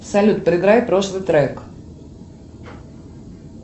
салют проиграй прошлый трек